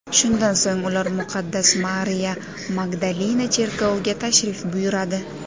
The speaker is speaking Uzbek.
Shundan so‘ng ular muqaddas Mariya Magdalina cherkoviga tashrif buyuradi.